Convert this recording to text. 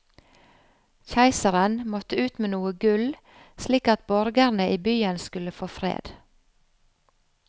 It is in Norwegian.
Keiseren måtte ut med noe gull, slik at borgerne i byen skulle få fred.